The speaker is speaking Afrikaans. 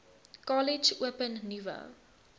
kollege open nuwe